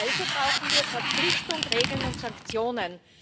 Also brauchen wir Verpflichtung, Regeln und Sanktionen.